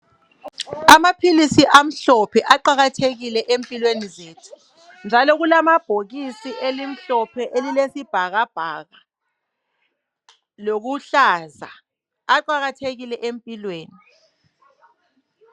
Amaphilisi amhlophe aqakathekile empilweni zethu. Njalo kulamabolhokisi elimhlophe elilesibhakabhaka lokuhlaza aqakathekile empilweni